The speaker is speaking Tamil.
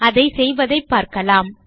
அதை செய்வதைப் பார்க்கலாம்